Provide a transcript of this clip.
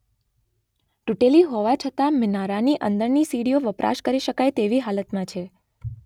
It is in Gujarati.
તૂટેલી હોવા છતાં મિનારાની અંદરની સીડીઓ વપરાશ કરી શકાય તેવી હાલતમાં છે